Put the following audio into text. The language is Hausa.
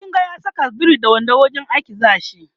in kin ga ya Saka biri da wando wurin aiki zashi